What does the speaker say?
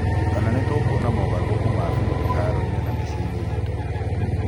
Kana nĩtũkuona mogarũrũku ma biũ iharoinĩ na miciĩinĩ itũ?